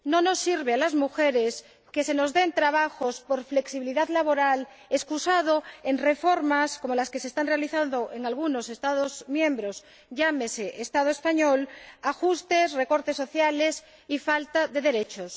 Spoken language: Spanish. No nos sirve a las mujeres que se nos den trabajos por flexibilidad laboral con el pretexto de reformas como las que se están realizando en algunos Estados miembros, como el Estado español, que acarrean ajustes, recortes sociales y falta de derechos.